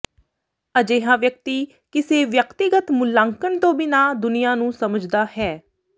ਅਜਿਹਾ ਵਿਅਕਤੀ ਕਿਸੇ ਵਿਅਕਤੀਗਤ ਮੁਲਾਂਕਣ ਤੋਂ ਬਿਨਾਂ ਦੁਨੀਆਂ ਨੂੰ ਸਮਝਦਾ ਹੈ